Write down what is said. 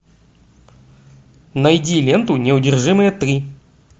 найди ленту неудержимые три